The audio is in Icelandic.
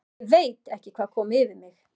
ÉG VEIT ekki hvað kom yfir mig.